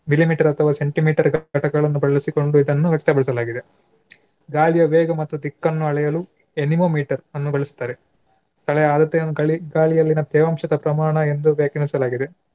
millimeter ಅಥವಾ centimeter ಘಟಕಗಳನ್ನು ಬಳಸಿಕೊಂಡು ಇದನ್ನು ವ್ಯಕ್ತಪಡಿಸಲಾಗಿದೆ. ಗಾಳಿಯ ವೇಗ ಮತ್ತು ದಿಕ್ಕನ್ನು ಅಳೆಯಲು anemometer ಅನ್ನು ಬಳಸ್ತಾರೆ. ಸ್ಥಳ ಅಳತೆಯನ್ನು ಗಳಿ~ ಗಾಳಿಯಲ್ಲಿನ ತೇವಾಂಶದ ಪ್ರಮಾಣ ಎಂದು ವ್ಯಾಖ್ಯಾನಿಸಲಾಗಿದೆ.